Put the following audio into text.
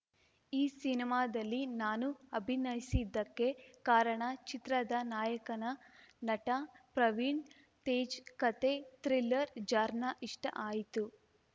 ಈ ಸಿನಿಮಾದಲ್ಲಿ ನಾನು ಅಭಿನಯಿಸಿದ್ದಕ್ಕೆ ಕಾರಣ ಚಿತ್ರದ ನಾಯಕನ ನಟ ಪ್ರವೀಣ್‌ ತೇಜ್‌ ಕತೆ ಥ್ರಿಲ್ಲರ್‌ ಜಾರ್ನಾ ಇಷ್ಟಆಯ್ತು